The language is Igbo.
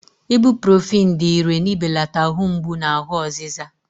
Ibuprọfen dị ìrè n'ibelata ahụ mgbu na ahụ ọzịza.